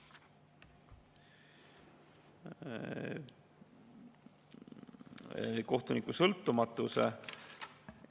– kohtuniku sõltumatuse